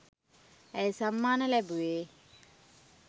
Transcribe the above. ඇය සම්මාන ලැබුවේ